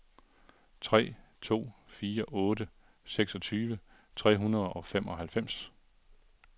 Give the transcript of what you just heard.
tre to fire otte seksogtyve tre hundrede og femoghalvfems